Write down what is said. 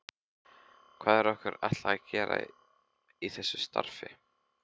Hvað er okkur ætlað að gera í þessu starfi?